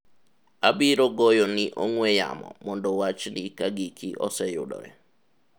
abiro goyo ni ong'we yamo mondo wachni ka giki oseyudore